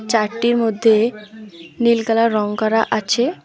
Chart -টির মধ্যে নীল কালার রং করা আছে।